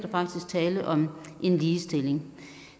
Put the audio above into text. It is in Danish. tale om en ligestilling